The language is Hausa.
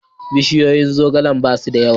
Bishiyoyin zogale ba su da yawa.